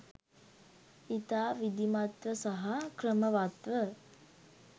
ඉතා විධිමත්ව සහ ක්‍රමවත්ව